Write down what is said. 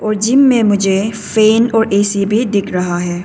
और जिम में मुझे फैन और ए_सी भी दिख रहा है।